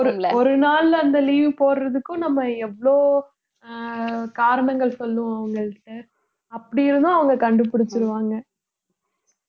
ஒரு நாள்ல அந்த leave போடறதுக்கும் நம்ம எவ்ளோ ஆஹ் காரணங்கள் சொல்லுவோம் அவங்கள்ட்ட அப்படி இருந்தும் அவங்க கண்டுபுடிச்சிருவாங்க